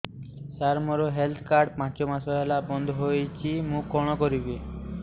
ସାର ମୋର health card ପାଞ୍ଚ ମାସ ହେଲା ବଂଦ ହୋଇଛି ମୁଁ କଣ କରିବି